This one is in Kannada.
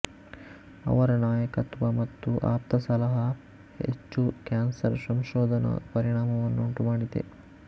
ಅವರ ನಾಯಕತ್ವ ಮತ್ತು ಆಪ್ತಸಲಹಾ ಹೆಚ್ಚು ಕ್ಯಾನ್ಸರ್ ಸಂಶೋಧನಾ ಪರಿಣಾಮವನ್ನುಂಟುಮಾಡಿದೆ